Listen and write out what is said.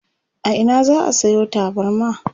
a Ina za'a Sayo tabarma?